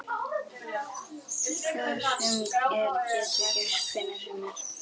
Hvað sem er getur gerst hvenær sem er.